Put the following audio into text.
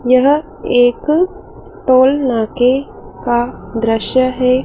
यह एक टोल नाके का दृश्य है।